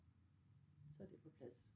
Så det på plads